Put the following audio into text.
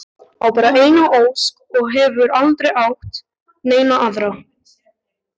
Á bara eina ósk og hefur aldrei átt neina aðra.